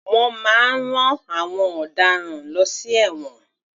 Wọ́n máa ń rán àwọn ọ̀daràn lọ sí ẹ̀wọ̀n.